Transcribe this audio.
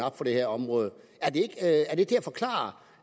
op for det her område er det til at forklare